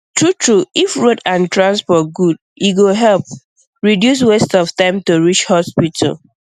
true true if road and transport good e go help um reduce waste of time to reach hospital